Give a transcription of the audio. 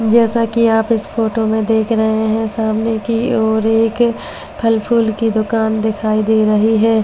जैसा कि आप इस फोटो में देख रहे हैं सामने की ओर एक फालफूल की दुकान दिखाई दे रही है जिसमें काउन्ट --